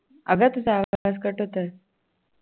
अगं तुझा आवाज cut होतोय